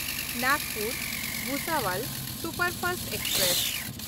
ᱱᱟᱜᱽᱯᱩᱨ–ᱵᱷᱩᱥᱟᱵᱚᱞ superfast express